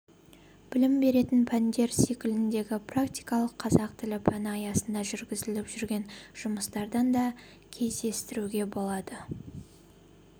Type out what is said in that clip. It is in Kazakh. білім беретін пәндер цикліндегі практикалық қазақ тілі пәні аясында жүргізіліп жүрген жұмыстардан да кездестіруге болады